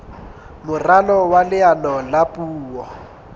moralo wa leano la puo